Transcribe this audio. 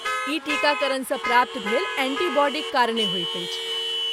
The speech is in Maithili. ई टीकाकरणसँ प्राप्त भेल एंटीबॉडीक कारणे होइत अछि।